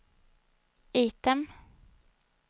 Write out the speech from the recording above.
item